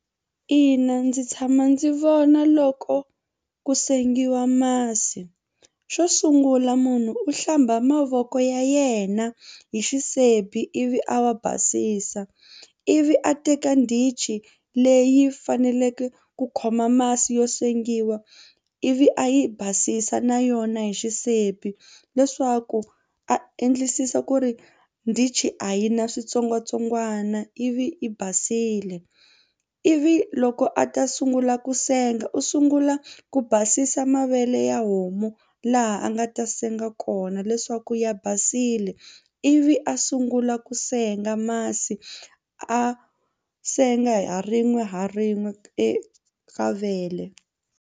Ina ndzi tshama ndzi vona loko ku sengiwa masi. Xo sungula munhu u hlamba mavoko ya yena hi xisibi ivi a wa basisa ivi a teka ndichi leyi faneleke ku khoma masi yo sengiwa ivi a yi basisa na yona hi xisibi leswaku a endlisisa ku ri ndichi a yi na switsongwatsongwana ivi i basile ivi loko a ta sungula ku senga u sungula ku basisa mavele ya homu laha a nga ta senga kona leswaku ya basile ivi a sungula ku senga masi a senga ha rin'we ha rin'we eka vele.